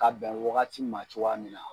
Ka bɛn wagati ma cogoya min na.